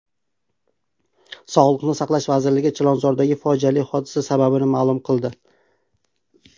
Sog‘liqni saqlash vazirligi Chilonzordagi fojiali hodisa sababini ma’lum qildi.